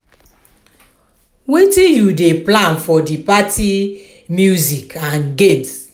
wetin you dey plan for di party music and games?